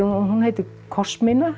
hún heitir